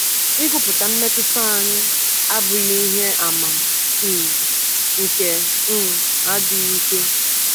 Ịgụpụta mmetụta anyị abụghị ihe àmà um nke um adịghị ike.